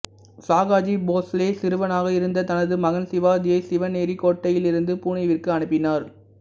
சாகாஜி போஸ்லே சிறுவனாக இருந்த தனது மகன் சிவாஜியை சிவனேரி கோட்டையிலிருந்து புனேவிற்கு அனுப்பினார்